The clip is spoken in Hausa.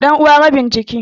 Ɗanuwa rabin jiki.